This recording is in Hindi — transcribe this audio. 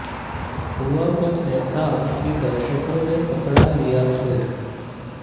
हुआ कुछ ऐसा कि दर्शोंको ने पकड़ा लिया सिर